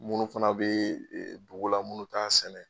Munnu fana bɛ dugula munnu ta sɛnɛ.